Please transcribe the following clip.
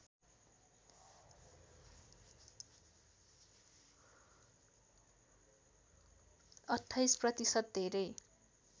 २८ प्रतिशत धेरै